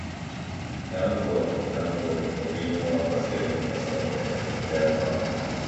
we thank god thank god for even one basket of cassava from backyard farm